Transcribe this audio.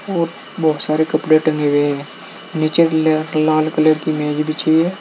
और बहुत सारे कपडे टंगे हुए हैं नीचे लाल कलर की मेज बिछी हुई है।